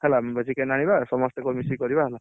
ହେଲା chicken ଆଣିବା ସମସ୍ତଙ୍କ ସହ ମିଶିକି କରିଆ ହେଲା